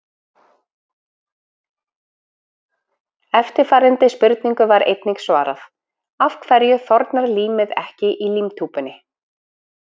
Eftirfarandi spurningu var einnig svarað: Af hverju þornar límið ekki í límtúpunni?